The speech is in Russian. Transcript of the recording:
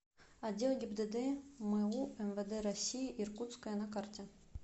отдел гибдд му мвд россии иркутское на карте